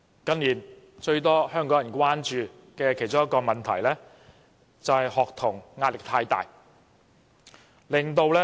近年，最多香港人關注的其中一個問題是學童壓力太大。